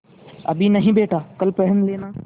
अभी नहीं बेटा कल पहन लेना